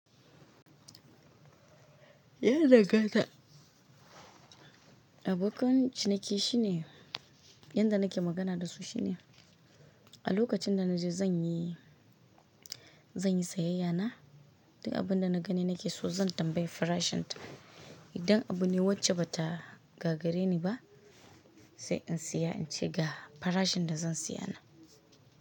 Ya danganta. Abokan ciniki shine, yanda nake magana da su shine, a lokacin da na je zan yi, zan yi sayayya na, duk abun da na gani nake so zan tambayi farashin ta. Idan abune wacce bata gagare ni ba, sai in saya in ce ga farashin da zan siya na.